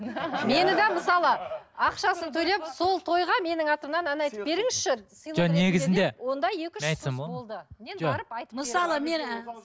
мені де мысалы ақшасын төлеп сол тойға менің атымнан ән айтып беріңізші